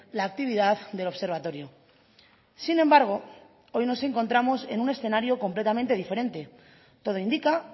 la actividad del observatorio sin embargo hoy nos encontramos en un escenario completamente diferente todo indica